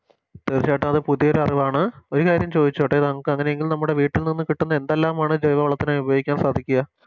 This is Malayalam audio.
തീർച്ചയായിട്ടും അത് പുതിയോര് അറിവാണ് ഒര് കാര്യം ചോയിച്ചോട്ടെ നമുക്കങ്ങനെങ്കിൽ നമ്മുടെ വീട്ടിൽ നിന്നും കിട്ടുന്ന എന്തെല്ലാമാണ് ജൈവവളത്തിനയി ഉപയോഗിക്കാൻ സാധിക്കുക